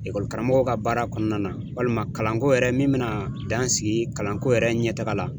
karamɔgɔ ka baara kɔnɔna na walima kalanko yɛrɛ min bɛna dan sigi kalanko yɛrɛ ɲɛ taga la.